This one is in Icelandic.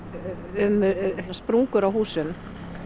um sprungur á húsum